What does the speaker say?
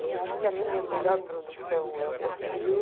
Eu acho que a minha melhor produção é o meu filho.